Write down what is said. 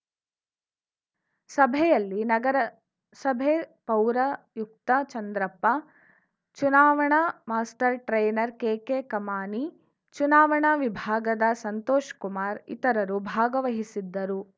ಸಭೆಯಲ್ಲಿ ನಗರಸಭೆ ಪೌರಾಯುಕ್ತ ಚಂದ್ರಪ್ಪ ಚುನಾವಣಾ ಮಾಸ್ಟರ್‌ ಟ್ರೈನರ್‌ ಕೆಕೆಕಮಾನಿ ಚುನಾವಣಾ ವಿಭಾಗದ ಸಂತೋಷ್‌ಕುಮಾರ್‌ ಇತರರು ಭಾಗವಹಿಸಿದ್ದರು